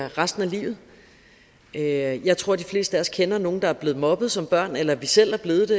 resten af livet jeg jeg tror de fleste af os kender nogle der er blevet mobbet som børn eller at vi selv er blevet